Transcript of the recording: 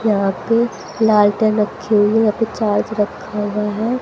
यहां पे लालटेन रखी हुई है यहां पे चार्ज रखा हुआ है।